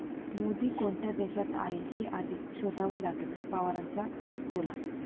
मोदी कोणत्या देशात आहे हे आधी शोधावं लागेल, पवारांचा टोला